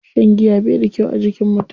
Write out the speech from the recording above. Shan giya bai da kyau a jikin mutum.